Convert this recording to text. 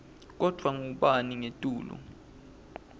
kodvwa kungabi ngetulu